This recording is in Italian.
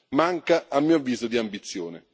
manca, a mio avviso, di ambizione.